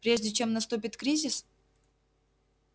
прежде чем наступит кризис